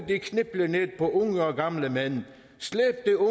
yndigt landdet står